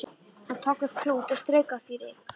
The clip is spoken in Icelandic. Hann tók upp klút og strauk af því ryk.